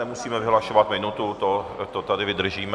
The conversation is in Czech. Nemusíme vyhlašovat minutu, to tady vydržíme.